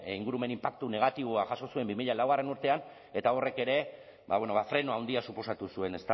ingurumen inpaktu negatiboa jaso zuen bi mila lau urtean eta horrek ere freno handia suposatu zuen